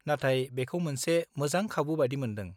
नाथाय बेखौ मोनसे मोजां खाबु बायदि मोन्दों।